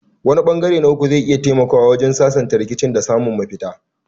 Wani ɓangare na uku zai iya taimakawa wajen sasanta rikicin da samun mafita.